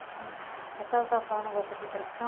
Uhum. A senhora estava falando o negócio da repressão?